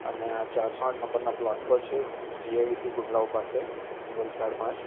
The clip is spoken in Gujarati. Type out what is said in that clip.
અને આ ચારસો આઠ નંબરના પ્લોટ પર છે જી_આઇ_ડી_સી ગુંડલાવ પાસે વલસાડમાં જ.